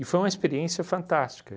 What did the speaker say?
foi uma experiência fantástica.